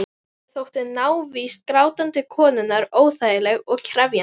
Haraldi þótti návist grátandi konunnar óþægileg og krefjandi.